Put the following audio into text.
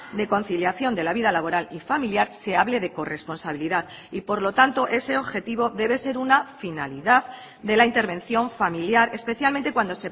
de conciliación de la vida laboral y familiar se hable de corresponsabilidad y por lo tanto ese objetivo debe ser una finalidad de la intervención familiar especialmente cuando